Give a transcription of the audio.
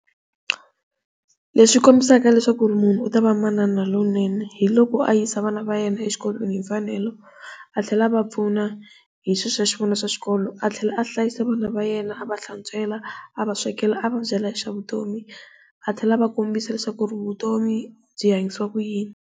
Leswi kombisaka leswaku munhu u ta v amanana lowunene hi loko a yisa vana va yena exikolweni hi mfanelo a tlhela a va pfuna hi swilo swa kona swa xikolo, a tlhela a hlayisa vana va yena a va hlantswela a va swekela a va byela hi swa vutomi a tlhela a va kombisa leswaku vutomi byi hanyisiwa ku yini.